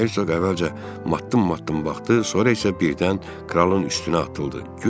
Herseq əvvəlcə matdım-matdım baxdı, sonra isə birdən kralın üstünə atıldı.